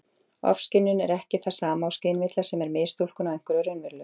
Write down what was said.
Ofskynjun er ekki það sama og skynvilla, sem er mistúlkun á einhverju raunverulegu.